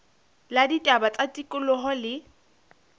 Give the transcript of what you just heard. la ditaba tsa tikoloho le